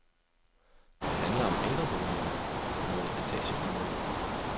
Det handler om ældreboliger, noget etagebyggeri,